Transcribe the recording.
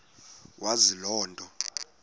wazi loo nto